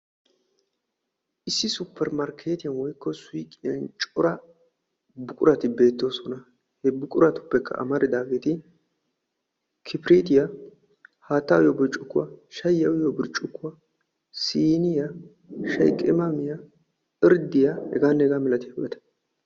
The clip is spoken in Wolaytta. Issi supermarkketiyan woykko suuqqiyan cora buqurati bettoosona. ha buqurtuppekka amaridaageeti kibirityaa, haattaa uyyiyo burccukkuwa, shayyiya uyyiyo burccukuwa siiniyaa, irddiya heganne hegaa malatiyaabata.